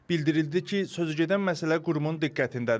Bildirildi ki, sözügedən məsələ qurumun diqqətindədir.